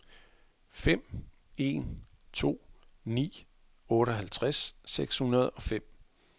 fem en to ni otteoghalvtreds seks hundrede og fem